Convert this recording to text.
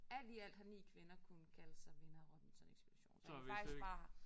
Alt i alt har 9 kvinder kunnet kalde sig vinder af Robinson Ekspeditionen så det faktisk bare